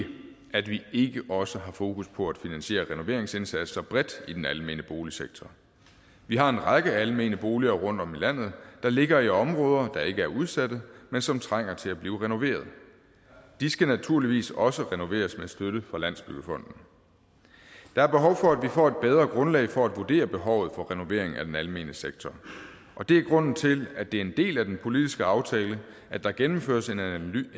at vi ikke også har fokus på at finansiere renoveringsindsatser bredt i den almene boligsektor vi har en række almene boliger rundtom i landet der ligger i områder der ikke er udsatte men som trænger til at blive renoveret de skal naturligvis også renoveres med støtte fra landsbyggefonden der er behov for at vi får et bedre grundlag for at vurdere behovet for renovering af den almene sektor og det er grunden til at det er en del af den politiske aftale at der gennemføres en analyse